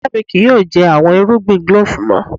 Iya mi kii yoo jẹ awọn irugbin glove mọ.